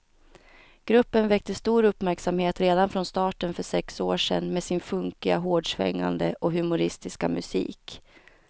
Gruppen väckte stor uppmärksamhet redan från starten för sex år sedan med sin funkiga, hårdsvängande och humoristiska musik.